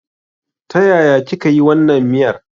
Ta yaya kika yi wannan miyar?